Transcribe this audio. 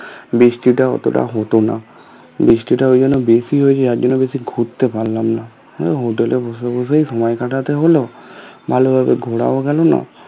বৃষ্টিটাও অতটা হতো না বৃষ্টির ওখানে বেশি হয়েছে যার জন্য বেশি ঘুরতে পারলাম না আমি hotel এ বসে বসেই সময় কাটাতে হলো ভালো ভাবে ঘুরাও গেলো না